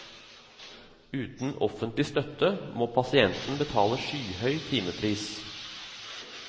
Uten offentlig støtte må pasienten betale skyhøy timepris.